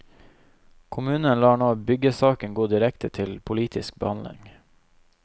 Kommunen lar nå byggesaken gå direkte til politisk behandling.